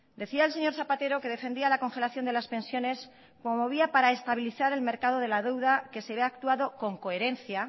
decía el señor zapatero que defendía la congelación de las pensiones promovida para estabilizar el mercado de la deuda que se ve actuado con coherencia